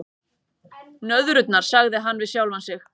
Nöðrurnar, sagði hann við sjálfan sig.